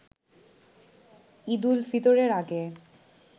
ঈদ উল ফিতরের আগে